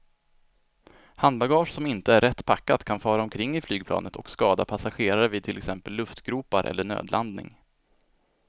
Handbagage som inte är rätt packat kan fara omkring i flygplanet och skada passagerare vid till exempel luftgropar eller nödlandning.